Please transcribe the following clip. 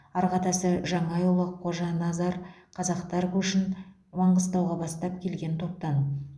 арғы атасы жаңайұлы қожаназар қазақтар көшін маңғыстауға бастап келген топтан